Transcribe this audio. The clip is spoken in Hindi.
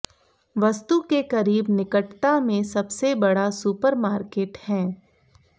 वस्तु के करीब निकटता में सबसे बड़ा सुपरमार्केट हैं